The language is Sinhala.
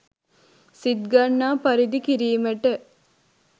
සිත්ගන්නා පරිදි කිරීමට